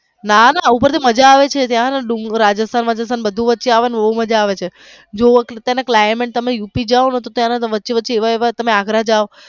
ના ના ઉપર થી મજા આવે છે રાજેસ્થાન માં ને બધું વચ્ચે આવે છે ને બોવ મજા આવે છે જોવો એટલે તમે climate તમે યુપી ગયા હોઈ ને ત્યારે તો વચ્ચે વચ્ચે એવા એવા તમે અગ્ર જાવ.